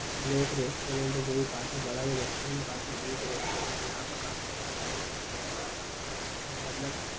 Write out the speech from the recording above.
यह एक रेस्टोरेंट हैं जो की काफी बड़ा ये रेस्टोरेंट है काफी रिच रेस्टोरेंट है यहाँ पर काफी सारे लोग यहाँ पर आते है यहाँ पे रेस्टोरेंट के अंदर--